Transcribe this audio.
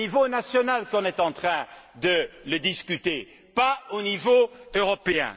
C'est au niveau national qu'on est en train de le discuter et non pas au niveau européen.